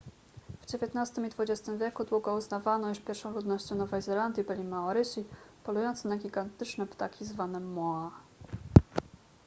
w dziewiętnastym i dwudziestym wieku długo uznawano iż pierwszą ludnością nowej zelandii byli maorysi polujące na gigantyczne ptaki zwane moa